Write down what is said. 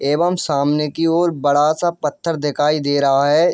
एवं सामने की ओर बड़ा सा पत्‍थर दिखाई दे रहा है।